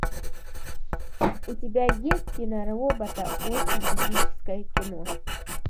у тебя есть киноработа очень эпическое кино